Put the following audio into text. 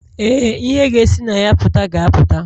Ee, ihe ga-esi na ya pụta ga-apụta.